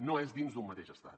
no és dins d’un mateix estat